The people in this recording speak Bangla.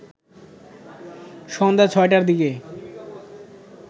সন্ধ্যা ৬টার দিকে